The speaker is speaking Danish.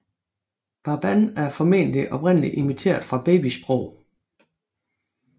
Baban er formentlig oprindeligt imiteret fra babysprog